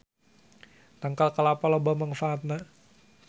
Tangkal kalapa loba mangfaatna